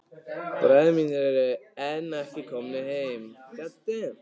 Bræður mínir eru enn ekki komnir heim.